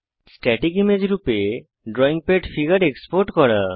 static image রূপে drawing pad figure export করা